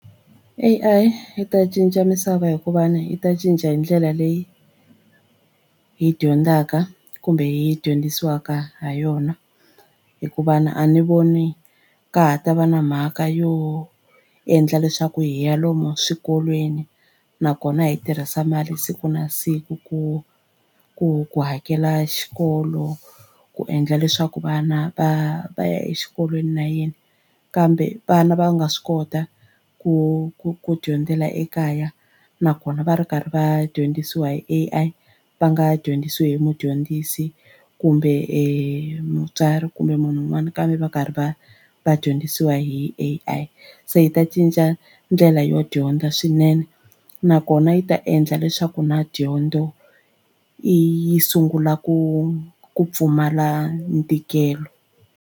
A_I yi ta cinca misava hikuva ni yi ta cinca hi ndlela leyi hi dyondzaka kumbe hi dyondzisiwaka ha yona hikuva ni a ni voni ka ha ta va na mhaka yo endla leswaku hi ya lomu swikolweni nakona hi tirhisa mali siku na siku ku ku ku hakela xikolo ku endla leswaku vana va va ya exikolweni na yini kambe vana va nga swi kota ku ku ku dyondzela ekaya nakona va ri karhi va dyondzisiwa hi A_I va nga dyondzisiwi hi mudyondzisi kumbe e mutswari kumbe munhu wun'wani kambe va karhi va va dyondzisiwa hi A_I se yi ta cinca ndlela yo dyondza swinene nakona yi ta endla leswaku na dyondzo yi sungula ku ku pfumala ntikelo.